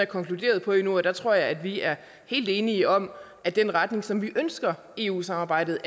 konkluderet på endnu og jeg tror at vi er helt enige om at den retning som vi ønsker eu samarbejdet